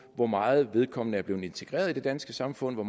hvor meget vedkommende er blevet integreret i det danske samfund og